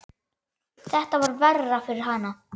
Þetta var verra fyrir hana.